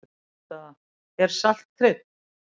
Niðurstaða: Er salt krydd?